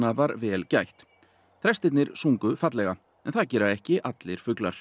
var vel gætt þrestirnir sungu fallega en það gera ekki allir fuglar